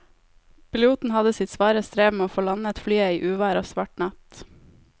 Piloten hadde sitt svare strev med å få landet flyet i uvær og svart natt.